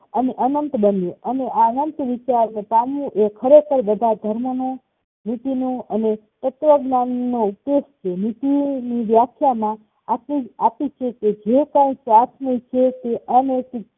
અને અંનત બન્યું અને આ અંનત વિચાર અને આ અંનત વિચારને પામવું એ બધા ધર્મનું નીતિ નું અને તત્વજ્ઞાન નું ઉદેશ છે નીતિની વ્યાખ્યામાં આપી આપીછે કે જે કાઈ સ્વાર્થ ને ઈચ્છે તે અનૈતિક